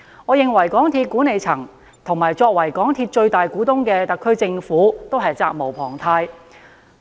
我認為，港鐵公司的管理層及作為港鐵公司最大股東的特區政府均責無旁貸。